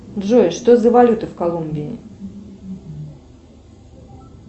джой что за валюта в колумбии